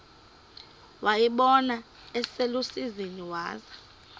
wayibona iselusizini waza